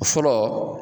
Fɔlɔ